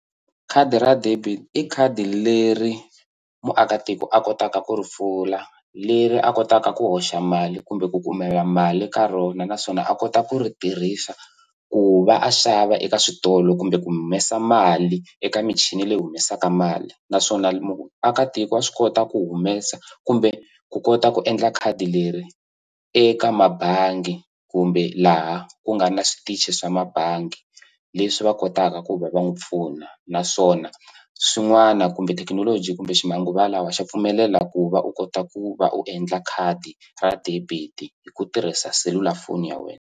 Khadi ra debit i khadi leri muakatiko a kotaka ku ri pfula leri a kotaka ku hoxa mali kumbe ku kumela mali ka rona naswona a kota ku ri tirhisa ku va a xava eka switolo kumbe ku humesa mali eka michini leyi humesaka mali naswona muakatiko wa swi kota ku humesa kumbe ku kota ku endla khadi leri eka mabangi kumbe laha ku nga na switichi swa mabangi leswi va kotaka ku va va n'wi pfuna naswona swin'wana kumbe thekinoloji kumbe ximanguva lawa xa pfumelela ku va u kota ku va u endla khadi ra debit hi ku tirhisa selulafoni ya wena.